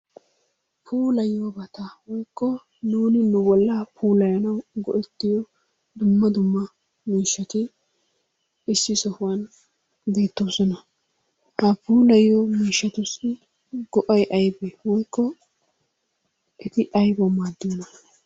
Puulayiyoobata woykko nuun nu bolla puulayyanawu go"ettiyo dumma dumma miishshati issi sohuwan beettoosona. Ha puilayiyo miishshatussi go"ay aybbe woykko eti aybba maaddiyoona?